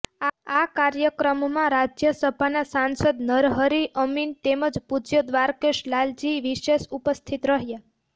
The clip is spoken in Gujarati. આ કાર્યક્રમમાં રાજ્ય સભાના સાંસદ નરહરી અમીન તેમજ પૂજ્ય દ્વારકેશ લાલજી વિશેષ ઉપસ્થિત રહ્યા